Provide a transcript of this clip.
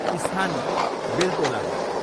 स्थान बेल्तोला हो।